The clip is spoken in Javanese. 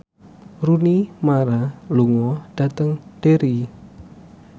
Rooney Mara lunga dhateng Derry